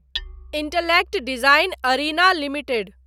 intellect design arena limited